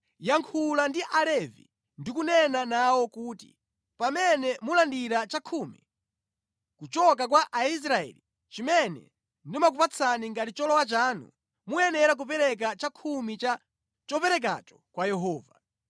“Yankhula ndi Alevi ndi kunena nawo kuti, ‘Pamene mulandira chakhumi kuchoka kwa Aisraeli chimene ndimakupatsani ngati cholowa chanu, muyenera kupereka chakhumi cha choperekacho kwa Yehova.